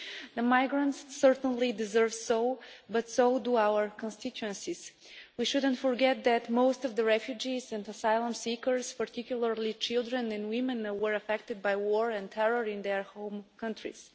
The migrants certainly deserve that but so do our constituencies. We shouldn't forget that most of the refugees and asylum seekers, particularly children and women, were affected by war and terror in their home countries.